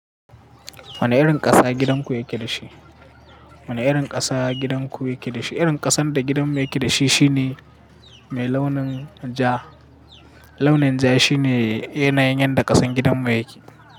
Wane irin ƙasa gidanku yake da shi? Wane irin ƙasa gidanku yake da shi? Irin ƙasan da gidanmu yake da shi shine mai launin ja. Launin ja shine yanayin yadda ƙasan gidanmu yake.